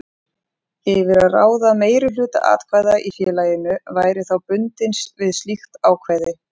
yfir að ráða meirihluta atkvæða í félaginu væri þá bundinn við slíkt ákvæði.